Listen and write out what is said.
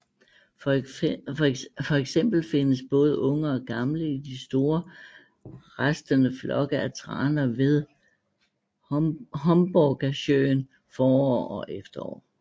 Fx findes både unge og gamle i de store rastende flokke af traner ved Hornborgasjön forår og efterår